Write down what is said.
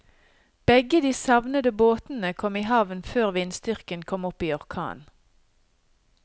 Begge de savnede båtene kom i havn før vindstyrken kom opp i orkan.